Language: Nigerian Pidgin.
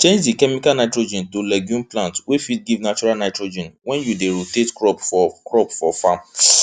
change di chemical nitrogen to legume plant wey fit give natural nitrogen wen you dey rotate crop for crop for farm